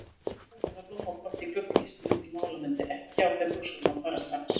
Farin að hagræða blómapotti í gluggakistunni til málamynda, ekki á þeim buxunum að fara strax.